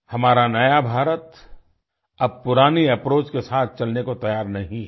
हमारा नया भारत अब पुराने अप्रोच के साथ चलने को तैयार नहीं है